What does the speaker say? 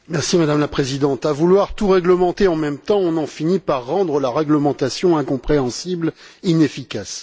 Madame la Présidente, à vouloir tout réglementer en même temps, on finit par rendre la réglementation incompréhensible et inefficace.